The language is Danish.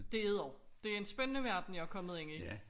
Det er det også det en spændende verden jeg er kommet ind i